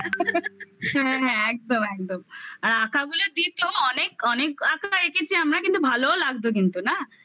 হ্যাঁ হ্যাঁ একদম একদম আঁকা গুলোর দিত অনেক অনেক আঁকা এঁকেছি আমরা কিন্তু ভালোও লাগতো কিন্তু না